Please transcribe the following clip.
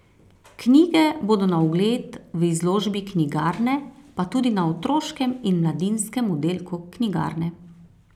Knjige bodo na ogled v izložbi knjigarne, pa tudi na otroškem in mladinskem oddelku knjigarne.